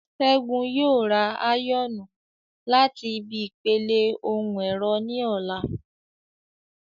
Ṣẹ́gun yóò ra áyọ̀nù láti ibi ìpele ohun ẹ̀rọ ní ọ̀la